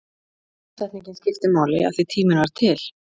Tímasetningin skipti máli, af því tíminn var til.